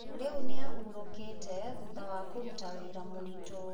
Rĩu nĩ ahurũkĩte thutha wa kũruta wĩra mũritũ.